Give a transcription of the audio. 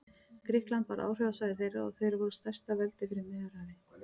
Grikkland varð áhrifasvæði þeirra og þeir voru stærsta veldi fyrir Miðjarðarhafi.